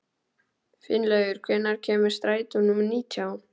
Finnlaugur, hvenær kemur strætó númer nítján?